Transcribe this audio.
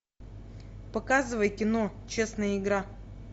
показывай кино честная игра